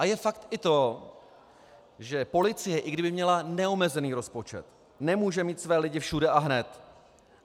A je fakt i to, že policie, i kdyby měla neomezený rozpočet, nemůže mít své lidi všude a hned.